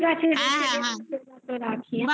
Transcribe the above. হ্যাঁ হ্যাঁ রাখি bye